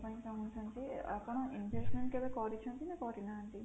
ଜାଣିବା ପାଇଁ ଚାହୁଁଛନ୍ତି ଆପଣ investment କେବେ କରିଛନ୍ତି ନା କରିନାହାନ୍ତି?